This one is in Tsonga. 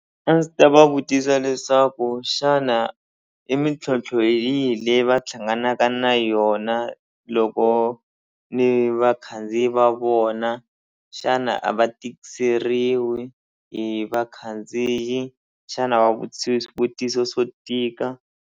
A ndzi ta va vutisa leswaku xana i mintlhontlho yihi leyi va hlanganaka na yona loko ni vakhandziyi va vona xana a va tikiseriwi hi vakhandziyi xana a va vutisi swivutiso swo tika.